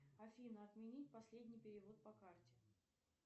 афина отменить последний перевод по карте